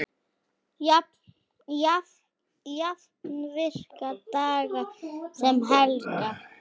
Jafnt virka daga sem helga.